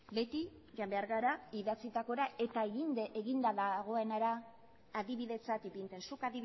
beti joan behar gara idatzitakora eta eginda dagoenera adibidetzat ipintzen zuk